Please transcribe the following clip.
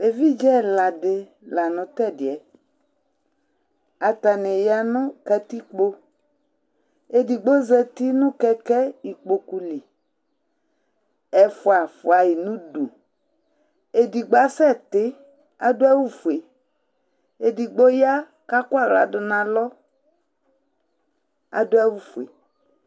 Evidze ɛla di la nu t'ɛdiɛ, atani ya nu katikpo, edigbo zati nu kɛ̃kɛ̃ ikpoku li, ɛfua fuayi n'udu, edigbo asɛ ti k'adu awù fue, edigbo ya k'akɔ aɣla dù n'alɔ k'adu awù fue